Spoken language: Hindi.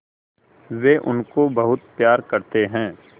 वे उनको बहुत प्यार करते हैं